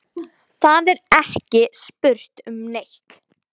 Það er ekki spurt um neitt.